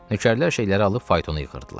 Nökərlər şeyləri alıb faytonu yığdırdılar.